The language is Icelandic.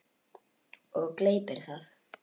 Og gleypir það.